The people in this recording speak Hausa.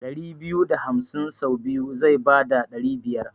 ɗari biyu da hamsin sau biyu zai bada ɗari biyar.